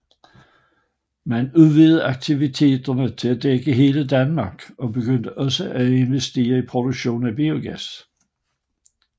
Man udvidede aktiviterne til at dække hele Danmark og begyndte også at investere i produktion af biogas